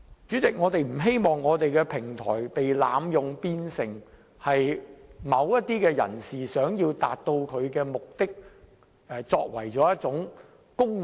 主席，我不希望我們的平台被濫用，淪為某些人為求達到目的而利用的工具。